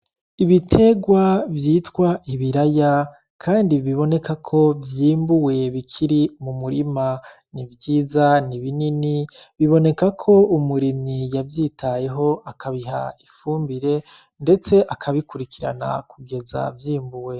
Ibiterwa vyitwa ibiraya kandi biboneka ko vyimbuwe bikiri mumurima, nivyiza nibinini, biboneka ko umurimyi yavyitayeho akabiha ifumbire ndetse akabikurikirana kugeza vyimbuwe